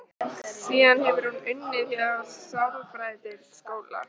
Síðan hefur hún unnið hjá sálfræðideild skóla.